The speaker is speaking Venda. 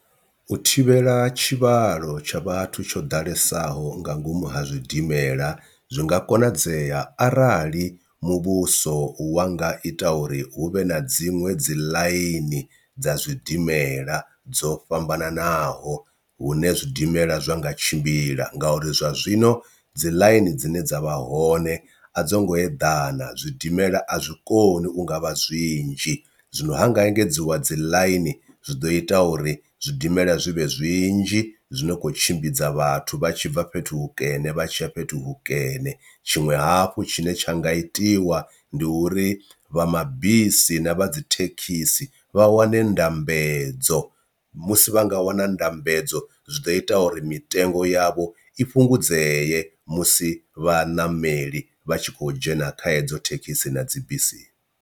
U thivhela tshivhalo tsha vhathu tsho ḓalesaho nga ngomu ha zwidimela zwi nga konadzea arali muvhuso wa nga ita uri hu vhe na dziṅwe dzi ḽaini dza zwidimela dzo fhambananaho hune zwidimela zwa nga tshimbila, ngauri zwa zwino dzi ḽaini dzine dza vha hone a dzo ngo eḓana zwidimela a zwi koni u nga vha zwinzhi. Zwino ha nga engedziwa dzi ḽaini zwi ḓo ita uri zwidimela zwivhe zwinzhi zwine khou tshimbidza vhathu vha tshi bva fhethu hukene vha tshiya fhethu hukene, tshiṅwe hafhu tshine tsha nga itiwa ndi uri vha mabisi na vha dzi thekhisi vha wane ndambedzo musi vha nga wana ndambedzo zwi ḓo ita uri mitengo yavho i fhungudzeye musi vhaṋameli vha tshi khou dzhena kha hedzo thekhisi na dzi bisi.